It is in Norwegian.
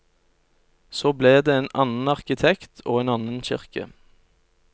Så ble det en annen arkitekt og en annen kirke.